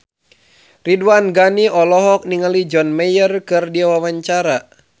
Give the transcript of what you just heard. Ridwan Ghani olohok ningali John Mayer keur diwawancara